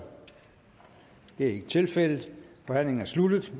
det er ikke tilfældet og forhandlingen er sluttet